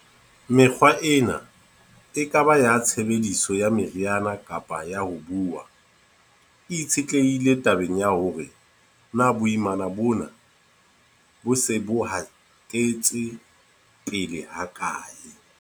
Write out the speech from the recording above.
Mekgwa ena, e ka ba ya tshebediso ya meriana kapa ya ho buuwa, e itshetlehile tabeng ya hore na boimana bona bo se bo hatetse pele hakae.